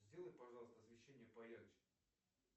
сделай пожалуйста освещение поярче